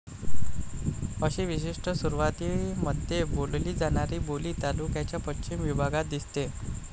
अशी विशिष्ट सुरवातीमध्ये बोलली जाणारी बोली तालुक्याच्या पश्चिम विभागात दिसते.